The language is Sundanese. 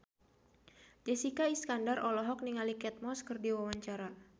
Jessica Iskandar olohok ningali Kate Moss keur diwawancara